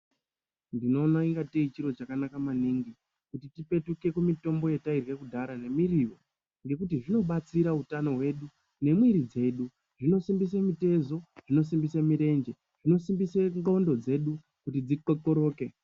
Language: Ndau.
Unoona senge chiro chakanaka maningi kuti tipetike kumutumbo yatairya kudhaya nemuriwo nekuti zvinobatsira hutano hwedu nemwiri hwedu zvinosimbida mitezo inosimbiswa mirenje inosimbisa ngonxo dzedu dzikwekwerede.